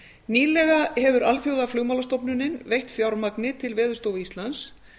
nýlega hefur alþjóðaflugmálastofnunin veitt fjármagn til veðurstofu íslands